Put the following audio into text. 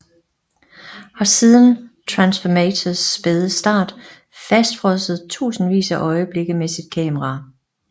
Har siden Transformators spæde start fastfrosset tusindvis af øjeblikke med sit kamera